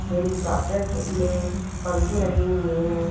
Helicopter के में पंखे लगे हुए है।